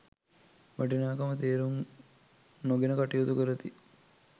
වටිනාකම තේරුම් නොගෙන කටයුතු කරති.